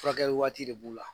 Furakɛli waati de b'u la.